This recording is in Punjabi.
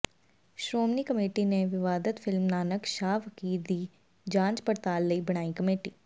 ਸ਼੍ਰੋਮਣੀ ਕਮੇਟੀ ਨੇ ਵਿਵਾਦਤ ਫਿਲਮ ਨਾਨਕ ਸ਼ਾਹ ਫਕੀਰ ਦੀ ਜਾਂਚ ਪੜਤਾਲ ਲਈ ਬਣਾਈ ਕਮੇਟੀ